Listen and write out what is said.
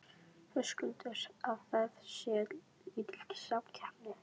Höskuldur: Að það sé lítil samkeppni?